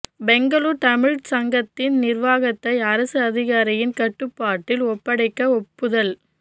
பெங்களூரு தமிழ்ச் சங்கத்தின் நிர்வாகத்தை அரசு அதிகாரியின் கட்டுப்பாட்டில் ஒப்படைக்க ஒப்புதல்